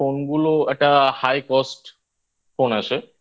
ফোনগুলো একটা High Cost Phone আসে